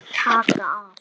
Taka af.